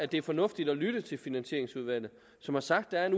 det er fornuftigt at lytte til finansieringsudvalget som har sagt at